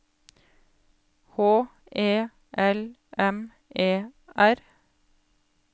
H E L M E R